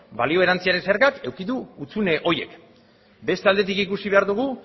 balio erantsiaren zergak eduki du hutsune horiek beste aldetik ikusi behar dugu